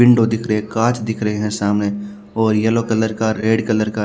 window दिख रहे है गाछ दिख रहे है सामने और येलो कलर का रेड कलर का --